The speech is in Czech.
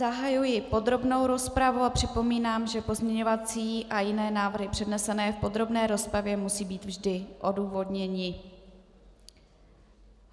Zahajuji podrobnou rozpravu a připomínám, že pozměňovací a jiné návrhy přednesené v podrobné rozpravě musí být vždy odůvodněné.